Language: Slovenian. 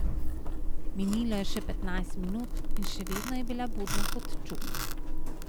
Minilo je še petnajst minut in še vedno je bila budna kot čuk.